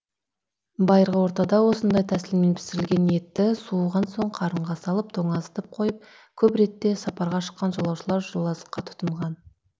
байырғы ортада осындай тәсілмен пісірілген етті суыған соң қарынға салып тоңазытып қойып көп ретте сапарға шыққан жолаушылар жолазыққа тұтынған